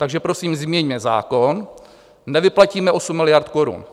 Takže prosím změňme zákon, nevyplatíme 8 miliard korun.